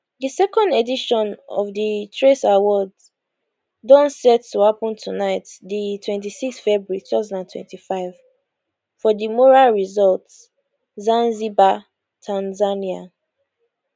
di second edition of di trace awards don set to happun tonight di 26 february 2025 for the mora resort zanzibar tanzania